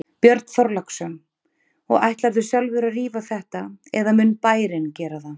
Björn Þorláksson: Og ætlarðu sjálfur að rífa þetta eða mun bærinn gera það?